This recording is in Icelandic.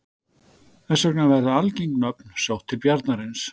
þess vegna verða algeng nöfn sótt til bjarnarins